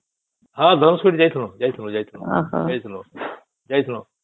ହଁ ଧନୁଷ କୋଟି ଯାଇଥିଲୁ ଯାଇଥିଲୁ ଯାଇଥିଲୁ